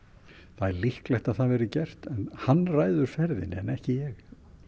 það er líklegt að það verði gert en hann ræður ferðinni en ekki ég